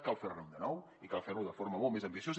cal fer ne un de nou i cal fer lo de forma molt més ambiciosa